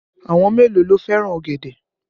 Àwọn mélòó ló fẹ́ràn ọ̀gẹ̀dẹ̀?